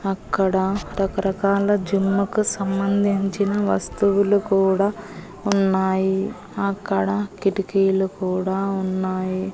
అక్కడ రకరకాల జిమ్ముకు సంబంధించిన వస్తువులు కూడా ఉన్నాయి అక్కడ కిటికీలు కూడా ఉన్నాయి.